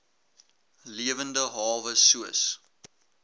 lewende hawe soos